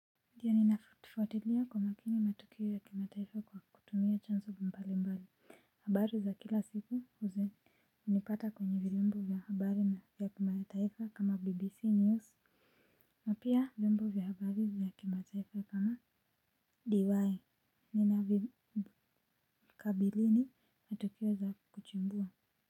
Ndiyo ninafuatifuatilia kwa makini matukio ya kima taifa kwa kutumia chanzo mbali mbali. Habari za kila siku huzi hunipata kwenye vyombo vya habari na vya kima taifa kama bbc news. Na pia vyombo vya habari vya kima taifa kama dy. Nina vikabilini matukio za kuchumbua.